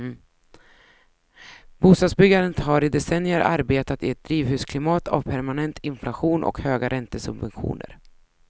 Bostadsbyggandet har i decennier arbetat i ett drivhusklimat av permanent inflation och höga räntesubventioner.